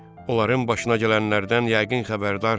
Onların başına gələnlərdən yəqin xəbərdarsız.